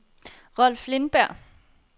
Rolf Lindberg